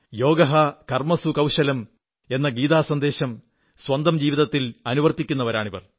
യോഗഃ കർമ്മസു കൌശലം എന്ന ഗീതാസന്ദേശം സ്വന്തം ജീവിതത്തിൽ അനുവർത്തിക്കുന്നവരാണിവർ